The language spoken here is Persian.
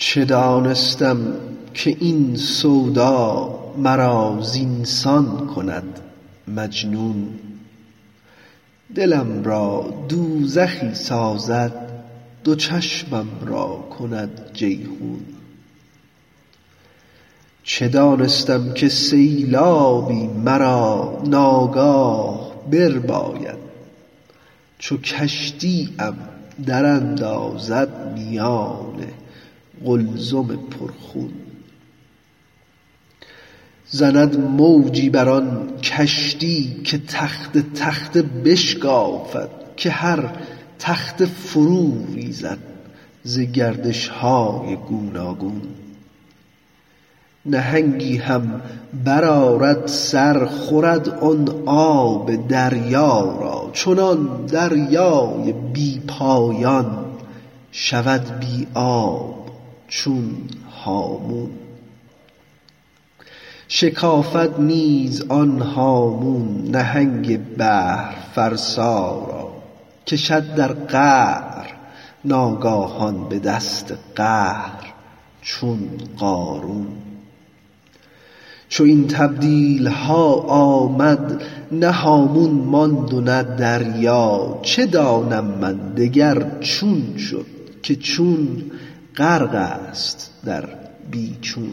چه دانستم که این سودا مرا زین سان کند مجنون دلم را دوزخی سازد دو چشمم را کند جیحون چه دانستم که سیلابی مرا ناگاه برباید چو کشتی ام دراندازد میان قلزم پرخون زند موجی بر آن کشتی که تخته تخته بشکافد که هر تخته فروریزد ز گردش های گوناگون نهنگی هم برآرد سر خورد آن آب دریا را چنان دریای بی پایان شود بی آب چون هامون شکافد نیز آن هامون نهنگ بحرفرسا را کشد در قعر ناگاهان به دست قهر چون قارون چو این تبدیل ها آمد نه هامون ماند و نه دریا چه دانم من دگر چون شد که چون غرق است در بی چون